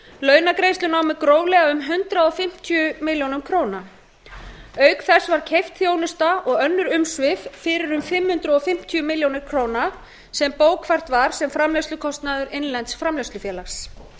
launagreiðslur námu gróflega um hundrað fimmtíu milljónir króna auk þess var keypt þjónusta og önnur umsvif fyrir um fimm hundruð fimmtíu milljónir króna sem bókfært var sem framleiðslukostnaður innlends framleiðslufélags